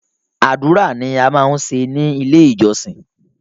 Àdúrà ni a máa ń ṣe ni ilé ìjọsìn.